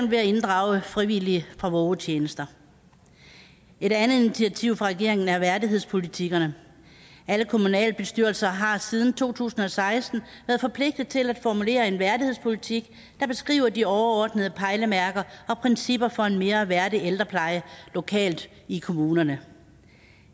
ved at inddrage frivillige fra vågetjenester et andet initiativ fra regeringen er værdighedspolitikkerne alle kommunalbestyrelser har siden to tusind og seksten været forpligtet til at formulere en værdighedspolitik der beskriver de overordnede pejlemærker og principper for en mere værdig ældrepleje lokalt i kommunerne